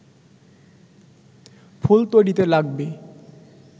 ফুল তৈরিতে লাগবে